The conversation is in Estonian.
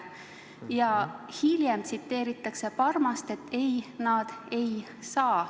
" Ja hiljem tsiteeritakse Parmast, kes ütles, et nad ei saa.